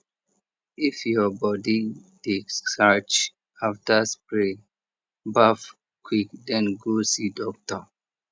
if your body dey scratch after spray baff quick den go see doctor